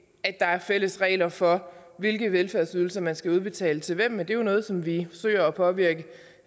at der er fælles regler for hvilke velfærdsydelser man skal udbetale til hvem men det er jo noget som vi søger at påvirke